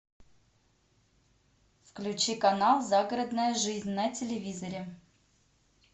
включи канал загородная жизнь на телевизоре